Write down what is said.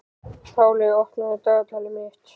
Páley, opnaðu dagatalið mitt.